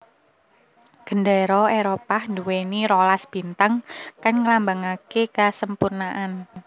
Gendéra Éropah nduwèni rolas bintang kang ngelambangake kasempurnaan